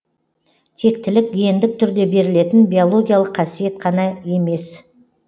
тектілік гендік түрде берілетін биологиялық қасиет қана емес